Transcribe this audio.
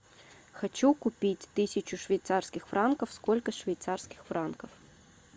хочу купить тысячу швейцарских франков сколько швейцарских франков